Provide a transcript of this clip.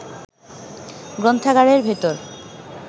গ্রন্থাগারের ভেতর